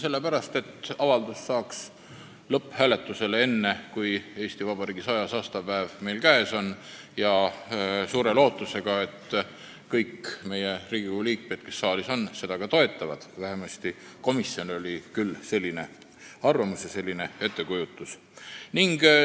Sellepärast, et avaldus saaks lõpphääletusele enne, kui Eesti Vabariigi 100. aastapäev on meil käes, ja suure lootusega, et kõik Riigikogu liikmed, kes on saalis, seda ka toetavad – vähemasti komisjonil oli küll selline arvamus ja ettekujutus.